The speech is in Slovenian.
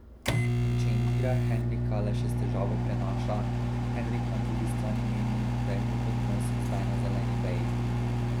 In če Indira Henrika le še s težavo prenaša, Henrik na drugi strani meni, da je njun odnos zdaj na zeleni veji.